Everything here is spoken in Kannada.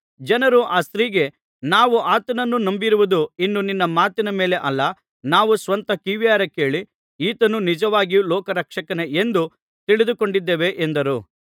ಜನರು ಆ ಸ್ತ್ರೀಗೆ ನಾವು ಆತನನ್ನು ನಂಬಿರುವುದು ಇನ್ನು ನಿನ್ನ ಮಾತಿನ ಮೇಲೆ ಅಲ್ಲ ನಾವು ಸ್ವತಃ ಕಿವಿಯಾರೆ ಕೇಳಿ ಈತನು ನಿಜವಾಗಿಯೂ ಲೋಕರಕ್ಷಕನೇ ಎಂದು ತಿಳಿದುಕೊಂಡಿದ್ದೇವೆ ಎಂದರು